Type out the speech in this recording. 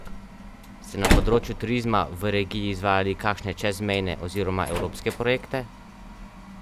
Ste na področju turizma v regiji izvajali kakšne čezmejne oziroma evropske projekte?